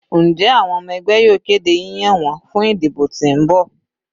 Njẹ awọn ọmọ ẹgbẹ yoo kede yiyan wọn fun idibo ti n bọ?